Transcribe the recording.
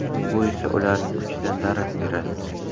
Bu esa ularning kuchidan darak beradi.